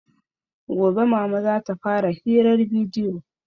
Gobe mama zata fara hirar bidiyo